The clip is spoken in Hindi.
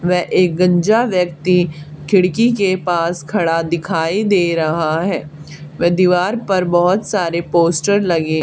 वे एक गंजा व्यक्ति खिड़की के पास खड़ा दिखाई दे रहा है वे दीवार पर बहुत सारे पोस्टर लगे--